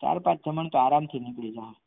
ચાર પાંચ જમણ તો આરામથી નીકળી જશે.